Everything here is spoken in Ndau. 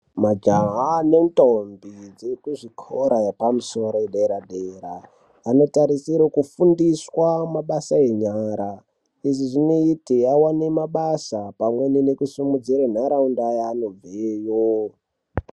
Majaha nendombi dzeekuzvikora epamusoro yedera-dera, anotarisire kufundiswa mabasa enyara. Izvi zvinote avane mabasa pamweni nekusimudzire nharaunda yaanobveyo.